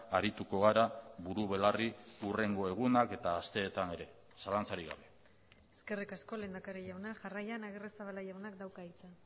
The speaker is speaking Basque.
arituko gara buru belarri hurrengo egunak eta asteetan ere zalantzarik gabe eskerrik asko lehendakari jauna jarraian agirrezabala jaunak dauka hitza